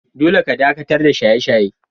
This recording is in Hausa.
Dolle ka dakatar da shaye-shaye!